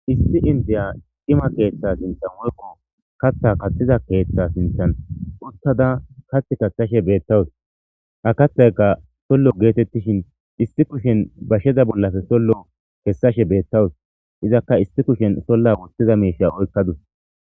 Issi indiya cima keeththa sinththan woykko kaththa kaththiza keeththa sinththan uttada kaththa kaththashe beetawus Ha kaththaykka soolo getetishin issi kushen basheza bollappe sollo kessashe beetawus izakka issi kushshen sooluwa wothiza miishsha oyqqadus.